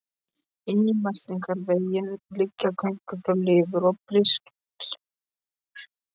Inn í meltingarveginn liggja göng frá lifur og briskirtlinum.